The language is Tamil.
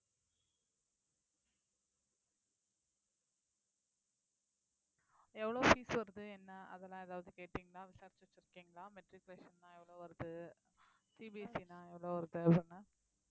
எவ்வளவு fees வருது என்ன அதெல்லாம் ஏதாவது கேட்டீங்களா விசாரிச்சு வச்சிருக்கீங்களா matriculation ன்னா எவ்வளவு வருது CBSE ன்னா எவ்வளவு வருது அப்டினு